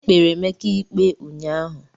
Ekpere Emeka ikpe unyaahụ.